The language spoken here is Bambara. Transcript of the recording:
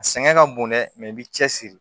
A sɛgɛn ka bon dɛ i b'i cɛsiri